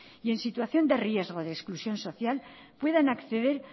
y en situación de riesgo de exclusión social puedan acceder